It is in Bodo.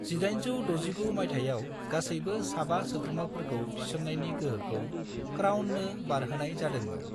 1869 मायथाइयाव गासैबो साबा सोद्रोमफोरखौ थिसननायनि गोहोखौ क्राउननो बारहोनाय जादोंमोन।